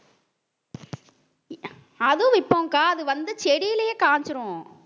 அதுவும் விப்போம்கா அது வந்து செடியிலேயே காஞ்சிரும்